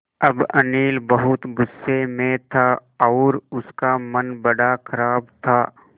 अब अनिल बहुत गु़स्से में था और उसका मन बड़ा ख़राब था